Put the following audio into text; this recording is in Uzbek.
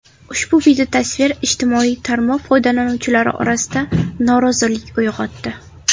Ushbu videotasvir ijtimoiy tarmoq foydalanuvchilari orasida norozilik uyg‘otdi.